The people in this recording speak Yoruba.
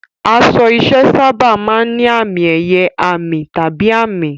Aṣọ iṣẹ́ sábà máa ń ní àmì-ẹ̀yẹ, àmì, tàbí àmì.